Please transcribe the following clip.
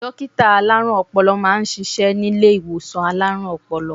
Dókítà alárùn-Ọpọlọ máa ń ṣiṣẹ́ nílé ìwòsàn alárùn-Ọpọlọ